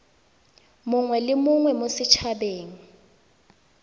mongwe le mongwe mo set